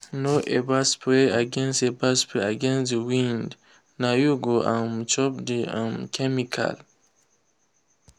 no ever spray against ever spray against the wind—na you go um chop the um chemical.